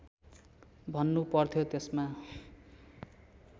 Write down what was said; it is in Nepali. भन्नु पर्थ्यो त्यसमा